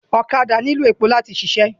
Ọ̀kadà nílò èpò láti ṣiṣẹ́